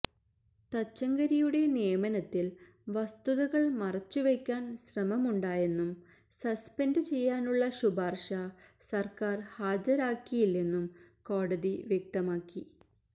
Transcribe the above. തച്ചങ്കരിയുടെ നിയമനത്തില് വസ്തുതകള് മറച്ചു വയ്ക്കാന് ശ്രമമുണ്ടായെന്നും സസ്പെന്ഡ് ചെയ്യാനുള്ള ശുപാര്ശ സര്ക്കാര് ഹാജരാക്കിയില്ലെന്നും കോടതി വ്യക്തമാക്കി